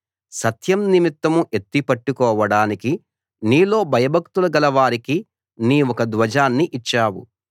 సత్యం నిమిత్తం ఎత్తి పట్టుకోవడానికి నీలో భయభక్తులు గలవారికి నీవొక ధ్వజాన్ని ఇచ్చావు